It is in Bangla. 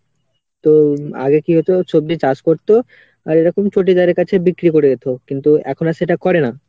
তো আগে কি হতো সবজি চাষ করতো আর এরকম চটিদারের কাছে বিক্রি করে দিতো। কিন্তু এখন আর সেটা করে না।